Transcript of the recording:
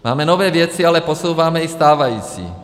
Máme nové věci, ale posouváme i stávající.